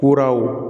Kuraw